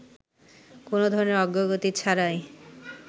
কোন ধরনের অগ্রগতি ছাড়াই